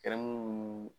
Kɛrɛmu